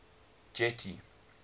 getty